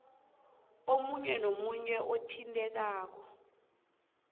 omunye nomunye othintekako